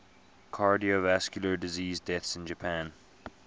cardiovascular disease deaths in japan